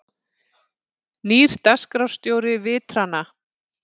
Nýr dagskrárstjóri Vitrana